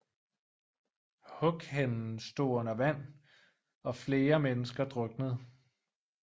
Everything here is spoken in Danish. Hughenden stod under vand og flere mennesker druknede